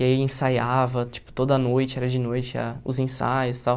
E aí ensaiava, tipo, toda noite, era de noite, ah os ensaios e tal.